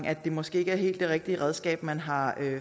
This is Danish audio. er måske ikke det helt rigtige redskab man har